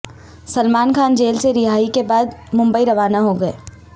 Salman Khan jail سے رہائی کے بعد ممبئی روانہ ہو گئے